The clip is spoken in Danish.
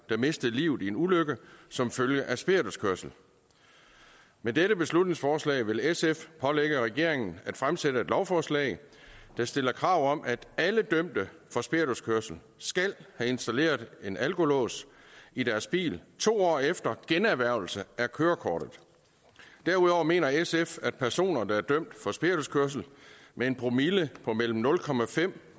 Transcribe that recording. der mistede livet i en ulykke som følge af spirituskørsel med dette beslutningsforslag vil sf pålægge regeringen at fremsætte et lovforslag der stiller krav om at alle dømte for spirituskørsel skal have installeret en alkolås i deres bil to år efter generhvervelse af kørekortet derudover mener sf at personer der er dømt for spirituskørsel med en promille på mellem nul